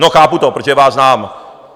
No, chápu to, protože vás znám.